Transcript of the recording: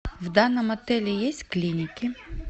в данном отеле есть клиники